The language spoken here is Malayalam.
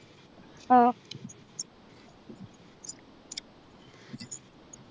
ആഹ്